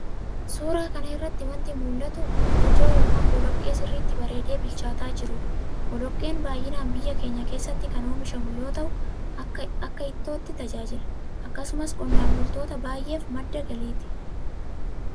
Suuraa kana irratti wanti mul'atu lojoo ( Boloqqee) sirriitti bareedee bilchaataa jiruu dha. Boloqqeen baay'inaan biyya keenya keessatti kan oomishamu yoo ta'u, akka ittootti tajaajila. Akkasumas qonnaan bultoota baay'eef madda galiiti.